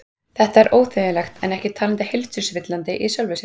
Þetta er óþægilegt en ekki talið heilsuspillandi í sjálfu sér.